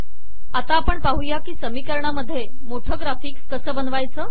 आता आपण पाहू की समीकरणामधे मोठे ग्राफिक्स कसे बनवावे